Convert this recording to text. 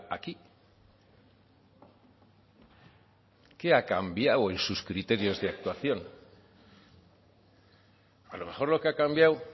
aquí qué ha cambiado en sus criterios de actuación a lo mejor lo que ha cambiado